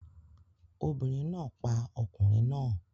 Obìnrin náà pa ọkùnrin náà